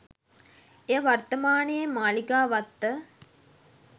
එය වර්තමානයේ මාලිගාවත්ත